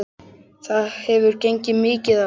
Það hefur gengið mikið á!